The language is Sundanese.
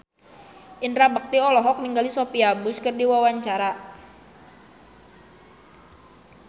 Indra Bekti olohok ningali Sophia Bush keur diwawancara